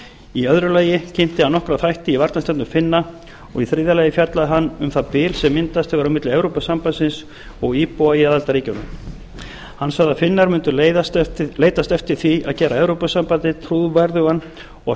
í öðru lagi kynnti hann nokkra þætti í varnarstefnu finna og í þriðja lagi fjallaði hann um það bil sem myndast hefur milli evrópusambandsins og íbúa í aðildarríkjunum hann sagði að finnar myndu leitast eftir því að gera evrópusambandið trúverðugan og